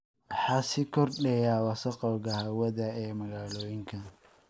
Waxaa sii kordhaya wasakhowga hawada ee magaalooyinka.